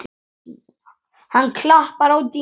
Hann klappar á dýnuna.